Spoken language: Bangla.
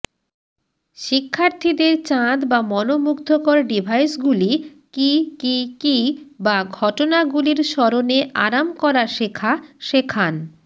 শিক্ষার্থীদের চাঁদ বা মনোমুগ্ধকর ডিভাইসগুলি কী কী কী বা ঘটনাগুলির স্মরণে আরাম করা শেখা শেখান